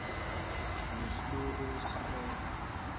le fleur wesikole